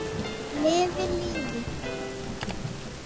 Lifi lífið!